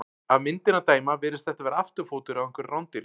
Af myndinni að dæma virðist þetta vera afturfótur á einhverju rándýri.